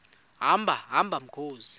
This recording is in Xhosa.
hamba hamba mkhozi